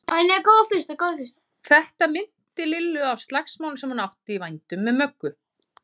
Þetta minnti Lillu á slagsmálin sem hún átti í vændum með Möggu.